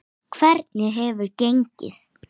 Hvernig hefur gengið?